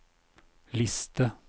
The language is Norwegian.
liste